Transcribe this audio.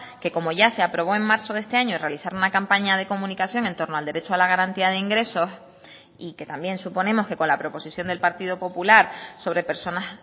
que como ya se aprobó en marzo de este año realizar una campaña de comunicación en torno al derecho a la garantía de ingresos y que también suponemos que con la proposición del partido popular sobre personas